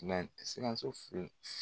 Sikaso